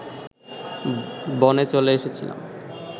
বনে চলে এসেছিলাম